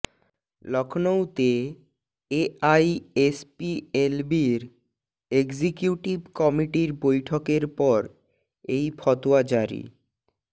লখনৌতে এআইএসপিএলবির এক্সিকিউটিভ কমিটির বৈঠকের পর এই ফতোয়া জারি